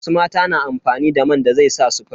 Wasu mata na amfani da man da zai sa su fari.